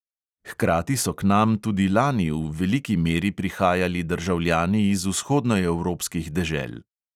Hkrati so k nam tudi lani v veliki meri prihajali državljani iz vzhodnoevropskih dežel.